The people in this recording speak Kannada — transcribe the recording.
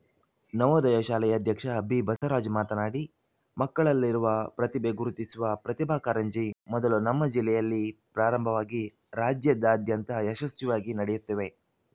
ನವೋದಯ ಶಾಲೆಯ ಅಧ್ಯಕ್ಷ ಬಿಬಸವರಾಜ್‌ ಮಾತನಾಡಿ ಮಕ್ಕಳಲ್ಲಿರುವ ಪ್ರತಿಭೆ ಗುರುತಿಸುವ ಪ್ರತಿಭಾ ಕರಂಜಿ ಮೊದಲು ನಮ್ಮ ಜಿಲ್ಲೆಯಲ್ಲಿ ಪ್ರಾರಂಭವಾಗಿ ರಾಜ್ಯದಾದ್ಯಂತ ಯಶಸ್ವಿಯಾಗಿ ನಡೆಯುತ್ತಿವೆ